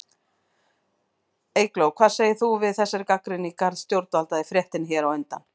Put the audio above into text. Eygló, hvað segir þú við þessari gagnrýni í garð stjórnvalda í fréttinni hér á undan?